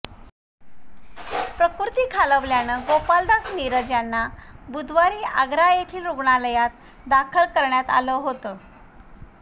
प्रकृती खालावल्यानं गोपालदास नीरज यांना बुधवारी आग्रा येथील रुग्णालयात दाखल करण्यात आलं होते